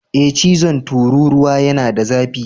Ee chizon tururuwa yana da zafi.